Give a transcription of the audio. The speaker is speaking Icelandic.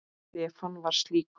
Stefán var slíkur.